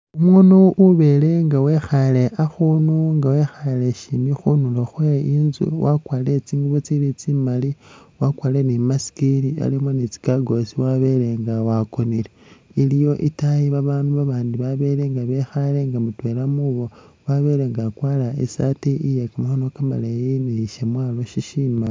Umuunu ubele nga wekhaale akhuunu nga wekhaale syimi khunulo khwe inzu wakwarire tsingubo tsili tsimali wakwarire ni i'mask ili alimo ni tsi gaggles wabele nga wakonile. Iliyo itaayi baanu babandi babele nga bekhaale nga mutwela khubo wabele nga akwara i'saati iye kamakhono kamaleeyi ni shamwaalo shishimbi.